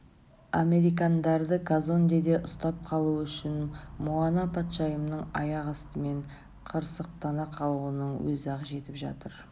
американдарды казондеде ұстап қалу үшін муана патшайымның аяқ астымен қырсықтана қалуының өзі-ақ жетіп жатыр